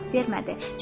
Cavab vermədi.